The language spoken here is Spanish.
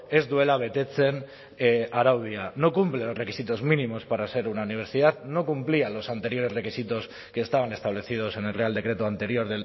ez duela betetzen araudia no cumple los requisitos mínimos para ser una universidad no cumplía los anteriores requisitos que estaban establecidos en el real decreto anterior